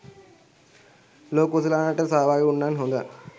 ලෝක කුසලානයටත් සහභාගී උනානං හොඳයි.